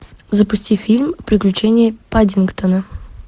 запусти фильм приключения паддингтона